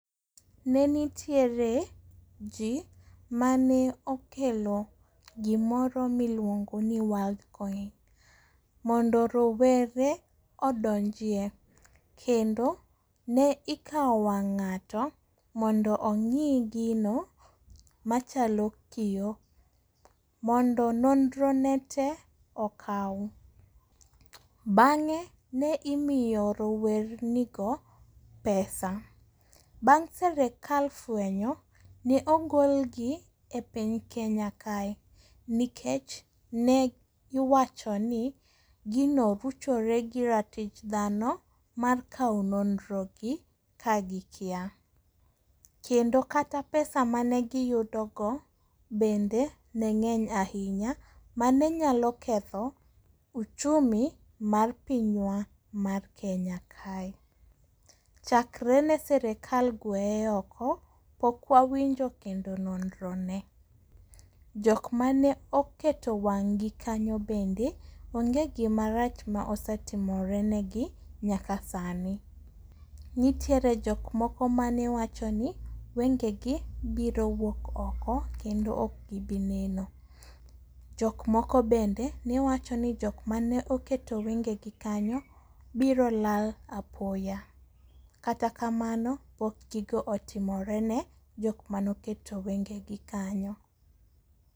Ne nitiere ji mane okelo gimoro miluongo ni world coin mondo rowere odonjie kendo ne ikawo wang' ng'ato mondo ong'i gino machalo kiyo mondo nonro ne te okaw. Bang'e ne imiyo rowernigo pesa. Bang' serekal fwenyo ne ogolgi epiny Kenya kae nikech ne iwacho ni gino ruchore gi ratich dhano mar kawo nonrogi ka gikia. Kendo kata pesa mane giyudogo, bende ne ng'eny ahinya mane nyalo ketho uchumi mar pinywa mar Kenya kae. Chakre ne sirikal gweye oko, pok wawinjo kendo nonro ne. jok mane oketo wang'gi kanyo bende, onge gimarach ma osetimore negi nyaka sani. Nitiere jok moko mane wacho ni wengegi biro wuok oko kendo ok gi bi neno. Jok moko bende ne wacho ni jok mane oketo wengegi kanyo biro lal apoya, kata kamano pok gigo otimorene jok mane oketo wengegi kanyo.